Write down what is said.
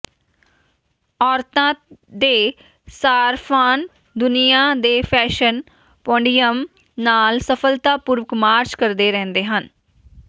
ਔਰਤਾਂ ਦੇ ਸਾਰਫਾਨ ਦੁਨੀਆਂ ਦੇ ਫੈਸ਼ਨ ਪੋਡੀਅਮ ਨਾਲ ਸਫਲਤਾਪੂਰਵਕ ਮਾਰਚ ਕਰਦੇ ਰਹਿੰਦੇ ਹਨ